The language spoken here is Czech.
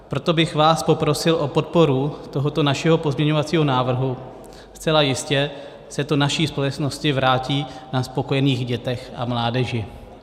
Proto bych vás poprosil o podporu tohoto našeho pozměňovacího návrhu, zcela jistě se to naší společnosti vrátí na spokojených dětech a mládeži.